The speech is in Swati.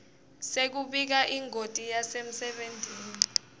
sekubika ingoti yasemsebentini